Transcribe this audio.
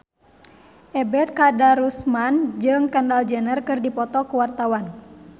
Ebet Kadarusman jeung Kendall Jenner keur dipoto ku wartawan